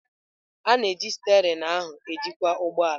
A na-eji steerin ahụ ejikwa ụgbọ ala.